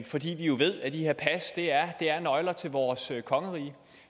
fordi vi jo ved at de her pas er nøgler til vores kongerige